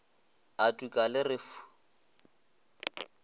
a tuka le re fu